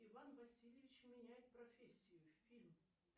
иван васильевич меняет профессию фильм